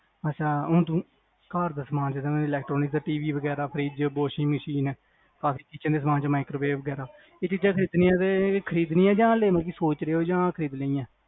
ਅੱਛਾ ਹੁਣ ਤੂੰ ਘਰ ਦਾ ਸਮਾਂ ਵਗੈਰਾ electronicTV ਗੈਰਾ fridgewashing machine ਕਾਫੀ ਚੀਜ਼ਾਂ ਦੇ ਸਮਾਂ ਚੋ microwave ਵਗੈਰਾ ਚੀਜ਼ਾਂ ਖ੍ਰੀਦਣੀਆਂ ਕ ਮਤਲਬ ਕ ਲੈਣੀਆਂ ਸੋਚ ਰਹੇ ਹੋ ਕ ਖ੍ਰੀਦਣੀਆਂ